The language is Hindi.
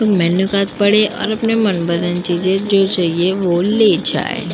मेनू कार्ड पढे और अपनी मनपसंद चीज जो चाहिए वह ले जाए।